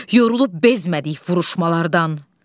Yorulub bezmədik vuruşmalardan.